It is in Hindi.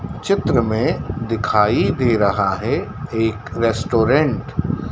चित्र में दिखाई दे रहा है एक रेस्टोरेंट --